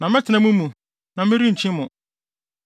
Na mɛtena mo mu, na merenkyi mo.